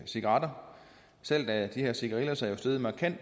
cigaretter salget af de her cigarillos er jo steget markant